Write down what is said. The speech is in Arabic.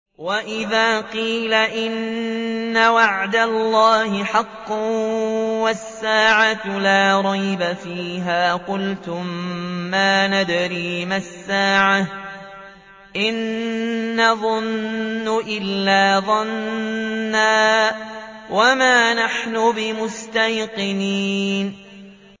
وَإِذَا قِيلَ إِنَّ وَعْدَ اللَّهِ حَقٌّ وَالسَّاعَةُ لَا رَيْبَ فِيهَا قُلْتُم مَّا نَدْرِي مَا السَّاعَةُ إِن نَّظُنُّ إِلَّا ظَنًّا وَمَا نَحْنُ بِمُسْتَيْقِنِينَ